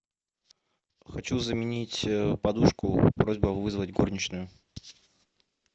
хочу заменить подушку просьба вызвать горничную